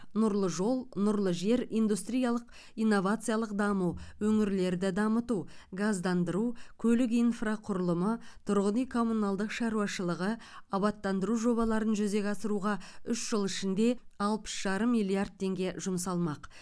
нұрлы жол нұрлы жер индустриялық инновациялық даму өңірлерді дамыту газдандыру көлік инфрақұрылымы тұрғын үй коммуналдық шаруашылығы абаттандыру жобаларын жүзеге асыруға үш жыл ішінде алпыс жарым миллиард теңге жұмсалмақ